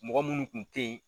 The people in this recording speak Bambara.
Mɔgɔ munnu tun tɛ ye